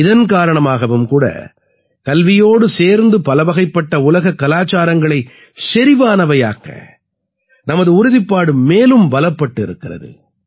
இதன் காரணமாகவும் கூட கல்வியோடு சேர்ந்து பலவகைப்பட்ட உலகக் கலாச்சாரங்களைச் செறிவானவையாக்க நமது உறுதிப்பாடு மேலும் பலப்பட்டு இருக்கிறது